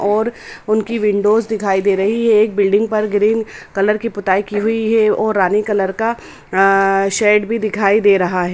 और उनकी विन्डोस दिखाई दे रही है। एक बिल्डिंग पर ग्रीन कलर की पुताई की हुई है और रानी कलर का आ शेड भी दिखाई दे रहा है।